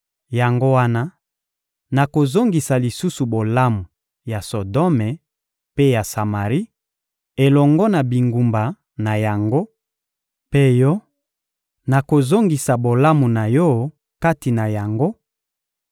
Yango wana, nakozongisa lisusu bolamu ya Sodome mpe ya Samari, elongo na bingumba na yango; mpe yo, nakozongisa bolamu na yo kati na yango